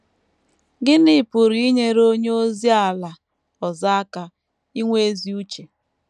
Gịnị pụrụ inyere onye ozi ala ọzọ aka inwe ezi uche?